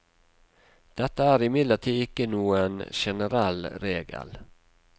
Dette er imidlertid ikke noen generell regel.